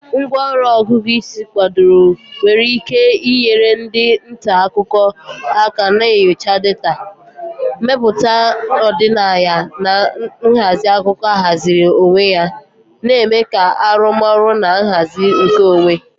Ngwá ọrụ Ọgụgụ isi kwadoro nwere ike inyere ndị nta akụkọ aka na nyocha data, mmepụta ọdịnaya, na nhazi akụkọ ahaziri onwe ya, na-eme ka arụmọrụ na nhazi nkeonwe.